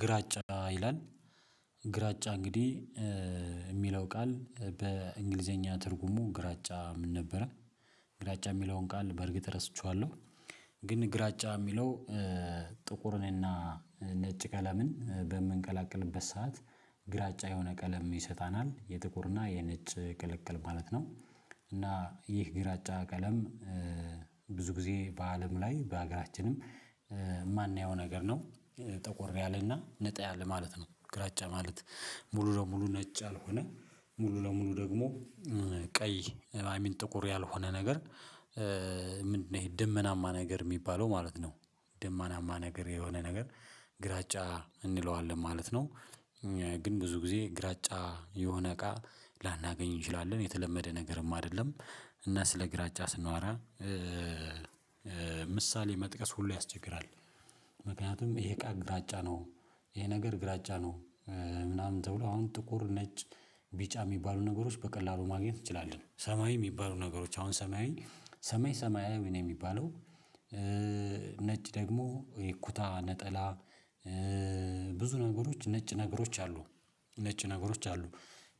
ግራጫ ይላል፣ ግራጫ እንግዲህ የሚለው ቃል በእንግሊዘኛ ትርጉሙ ግራጫ ምን ነበረ፣ ግራጫ የሚለውን ቃል በእርግጥ ረስቸዋለሁ፤ ግን ግራጫ የሚለው ጥቁርንና ነጭ ቀለምን በምንቀላቅልበት ሰዓት ግራጫ የሆነ ቀለም ይሰጣናል። የጥቁርና የነጭ ቅልቅል ማለት ነው፤ እና ይህ ግራጫ ቀለም ብዙ ጊዜ በአለም ላይ በሀገራችንም የማናየው ነገር ነው። ጠቆር ያለና ነጣ ያለ ማለት ነው ግራጫ ማለት ሙሉ ለሙሉ ነጭ ያልሆነ፤ ሙሉ ለሙሉ ደግሞ ቀይ አይሚን ጥቁር ያልሆነ ነገር ምንድነው ይሄ ድመናማ ነገር የሚባለው ማለት ነው፤ ደመናማ ነገር የሆነ ነገር ግራጫ እንለዋለን ማለት ነው። ግን ብዙ ጊዜ ግራጫ የሆነ እቃ ላናገኝ እንችላለን። የተለመደ ነገርም አይደለም፤ እና ስለ ግራጫ ስናወራ ምሳሌ መጥቀስ ሁሉ ያስቸግራል። ምክንያቱም ይሄ እቃ ግራጫ ነው፣ ይሄ ነገር ግራጫ ነው፣ ምናምን ተብሎ አሁን ጥቁር፣ ነጭ፣ ቢጫ የሚባሉ ነገሮች በቀላሉ ማግኘት እንችላለን። ሰማያዊ የሚባሉ ነገሮች አሁን ሰማያዊ ሰማይ ሰማያዊ ነው የሚባለው። ነጭ ደግሞ ይኩታ ነጠላ ብዙ ነገሮች ነጭ ነገሮች አሉ ነጭ ነገሮች አሉ።